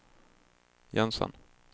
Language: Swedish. Jensen